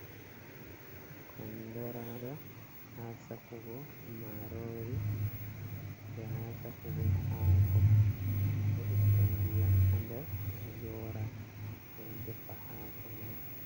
Kondoraga ha sakugo marori be ha sakugo hako be ittan diyam hader ga yora be defa hako man.